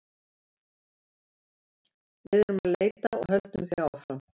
Við erum að leita og höldum því áfram.